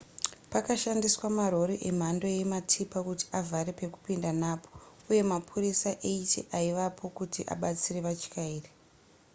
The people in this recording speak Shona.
pakashandiswa marori emhando yematipa kuti avhare pekupinda napo uye mapurisa 80 aivapo kuti abatsire vatyairi